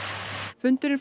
fundurinn